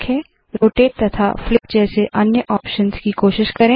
rotate तथा flip जैसे अन्य ऑप्शंस की कोशिश करे